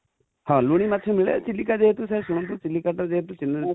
ହଁ ଲୁଣି ମାଛ ମିଳେ, ଚିଲିକା ଯେହେତୁ ସାର ଶୁଣନ୍ତୁ ଚିଲିକା ଟା ଯେହେତୁ